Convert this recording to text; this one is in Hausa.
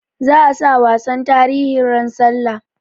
Za a sa wasan tarihi ran sallah